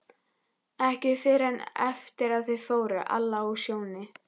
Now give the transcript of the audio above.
Ekki fyrr en eftir að þau fóru, Alla og Sjóni.